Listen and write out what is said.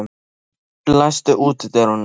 Vilgerður, læstu útidyrunum.